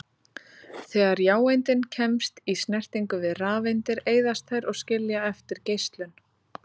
Þegar jáeindin kemst í snertingu við rafeindir eyðast þær og skilja eftir geislun.